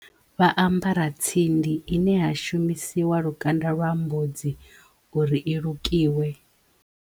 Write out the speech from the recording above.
Vha ambara tsindi ine ya shumisiwa lukanda lwa mbudza uri i lukiwe.